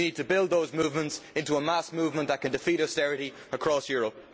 We need to build those movements into a mass movement that can defeat austerity across Europe.